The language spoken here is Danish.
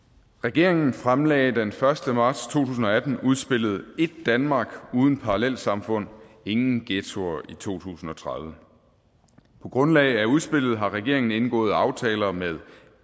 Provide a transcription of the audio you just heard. regeringen fremlagde den første marts to tusind og atten udspillet et danmark uden parallelsamfund ingen ghettoer i to tusind og tredive på grundlag af udspillet har regeringen indgået aftaler med